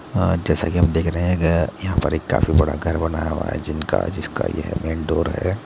जैसा की हम देख रह है यहा पर काफी बड़ा घर बनाया हुवा है जिनका जिसका यह मेन डोर है।